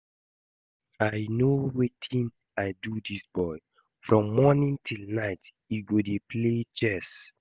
I no know wetin I do dis boy, from morning till night he go dey play chess